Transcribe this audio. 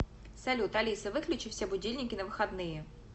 салют алиса выключи все будильники на выходные